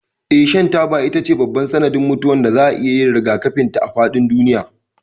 Eh, shan taba shine babban sanadin mutuwar da za a iya yin rigakafin ta a faɗin duniya.